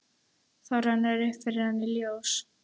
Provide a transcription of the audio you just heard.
Þá rennur upp fyrir henni ljós.